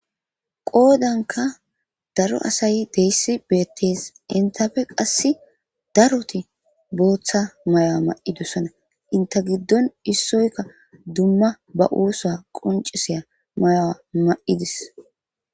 Qoodanka daro asay deesi beettees enttape qassi daroti booththa mayo ma'idosona enta giddon issoyka dumma ba ooso qonccisiya mayuwa ma'ides.